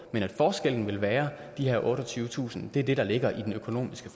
men at forskellen vil være de her otteogtyvetusind er det der ligger i den økonomiske